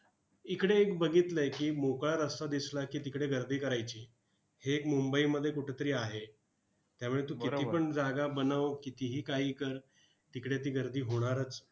इकडे एक बघितलंय की, मोकळा रस्ता दिसला की, तिकडे गर्दी करायची. हे एक मुंबईमध्ये कुठेतरी आहे. त्यामुळे तू कितीपण जागा बनव, कितीही काही कर, तिकडे ती गर्दी होणारच.